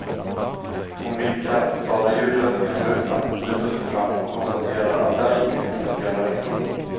Hon vinkar, talar ljudlöst genom rutan, lutar sig fram och konstaterar att där gick visst hennes gamla rektor.